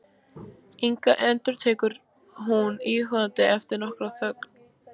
Inga, endurtekur hún íhugandi eftir nokkra þögn.